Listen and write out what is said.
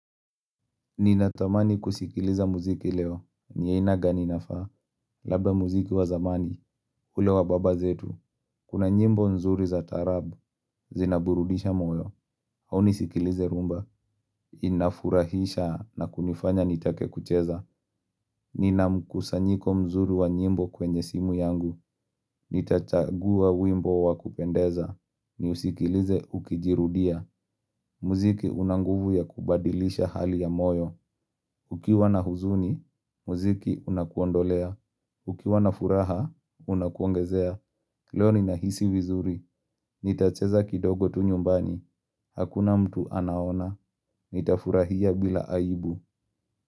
Ninatamani kusikiliza muziki leo, ni aina gani inafaa, labda muziki wa zamani, ule wa baba zetu, kuna nyimbo nzuri za taarabu, zinaburudisha moyo, au nisikilize rhumba, inafurahisha na kunifanya nitake kucheza Ninamkusanyiko mzuri wa nyimbo kwenye simu yangu, nitachagua wimbo wa kupendeza, niusikilize ukijirudia, muziki una nguvu ya kubadilisha hali ya moyo Ukiwa na huzuni, muziki unakuondolea. Ukiwa na furaha, unakuongezea. Leo ninahisi vizuri. Nitacheza kidogo tu nyumbani. Hakuna mtu anaona. Nitafurahia bila aibu.